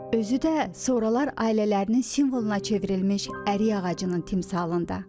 Özü də sonralar ailələrinin simvoluna çevrilmiş ərik ağacının timsalında.